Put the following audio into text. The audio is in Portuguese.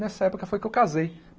Nessa época foi que eu casei.